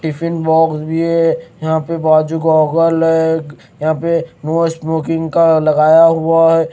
Tiffin box भी है यहाँ पे बाजू गोगल ग यहाँ पे नो स्मोकिंग का लगाया हुआ है।